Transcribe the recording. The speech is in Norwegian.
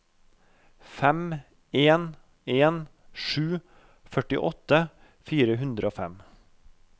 fem en en sju førtiåtte fire hundre og fem